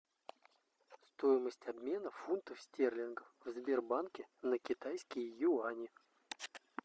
стоимость обмена фунтов стерлингов в сбербанке на китайские юани